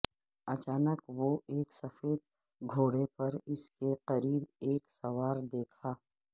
اچانک وہ ایک سفید گھوڑے پر اس کے قریب ایک سوار دیکھا